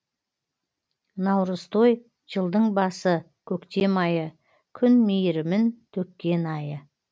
наурызтой жылдың басы көктем айы күн мейірімін төккен айы